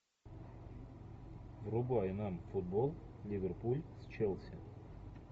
врубай нам футбол ливерпуль с челси